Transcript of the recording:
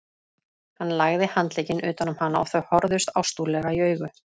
Hann lagði handlegginn utan um hana og þau horfðust ástúðlega í augu.